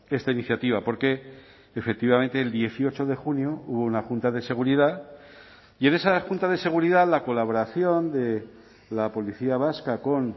esta iniciativa porque efectivamente el dieciocho de junio hubo una junta de seguridad y en esa junta de seguridad la colaboración de la policía vasca con